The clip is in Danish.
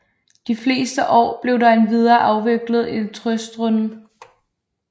De fleste år blev der endvidere afviklet et trøstrunde